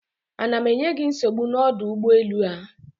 Ana m enye gị nsogbu n'ọdụ ụgbọelu a?